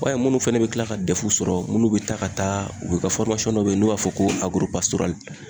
I b'a munnu fɛnɛ be tila ka dɛfu sɔrɔ munnu b e taa ka taa u be ka fɔrimasɔn dɔ be ye n'u b'a fɔ ko agoropasorali